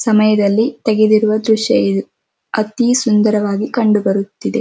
ಸಮಯದಲ್ಲಿ ತೆಗೆದಿರುವ ದೃಶ್ಯ ಇದುಅತಿ ಸುಂದರವಾಗಿ ಕಂಡು ಬರುತಿದೆ.